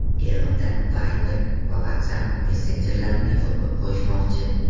Eronda Viber va WhatsApp messenjerlarini yopib qo‘yishmoqchi.